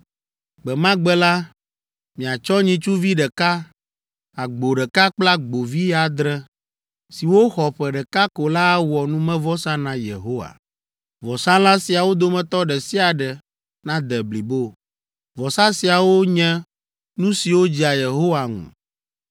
Gbe ma gbe la, miatsɔ nyitsuvi ɖeka, agbo ɖeka kple agbovi adre, siwo xɔ ƒe ɖeka ko la awɔ numevɔsa na Yehowa. Vɔsalã siawo dometɔ ɖe sia ɖe nade blibo. Vɔsa siawo nye nu siwo dzea Yehowa ŋu.